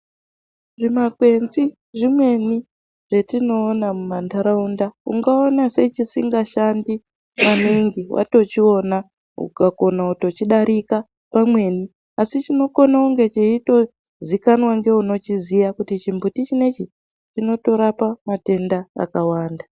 Zvimakwenzi zvimweni zvetinoona mumandaraunda ungaona sechisingashandi maningi watochiona ukakona kutochidarika pamweni asi chinokona kunge cheyitoziikanwa newunochiziya kuti chimbuti chinechi chinotorapa matenda akawanda.